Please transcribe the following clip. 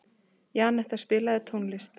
Janetta, spilaðu tónlist.